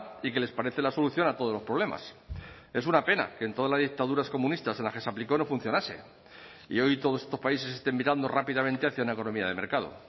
y que les parece la solución a todos los problemas es una pena que en todas las dictaduras comunistas en las que se aplicó no funcionase y hoy todos estos países estén mirando rápidamente hacia una economía de mercado